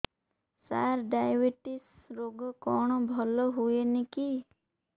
ସାର diabetes ରୋଗ କଣ ଭଲ ହୁଏନି କି